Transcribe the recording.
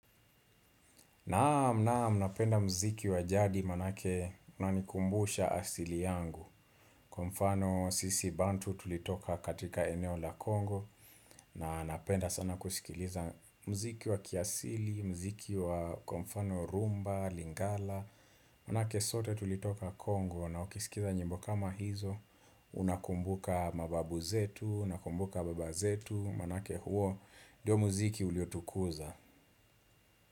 Naam naam napenda muziki wa jadi maanake unanikumbusha asili yangu Kwa mfano sisi bantu tulitoka katika eneo la kongo na napenda sana kusikiliza muziki wa kiasili, muziki wa kwa mfano rhumba, lingala Maanake sote tulitoka kongo na ukisikiza nyimbo kama hizo Unakumbuka mababu zetu, nakumbuka baba zetu Maanake huo nio muziki uliotukuza.